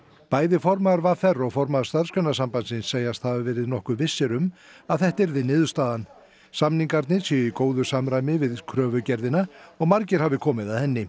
bæði formaður v r og formaður Starfsgreinasambandsins segjast hafa verið nokkuð vissir um að þetta yrði niðurstaðan samningar séu í góðu samræmi við kröfugerðina og margir hafi komið að henni